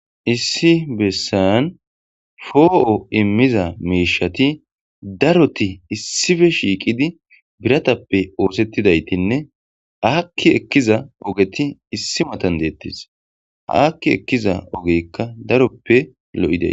issi bessan foo'o immiza miishati daroti issife shiiqidi biratappe oosettidaytinne akki ekkiza ogeti issi matan deettes hakki ekkiza ogeyikka daroppe lo'idays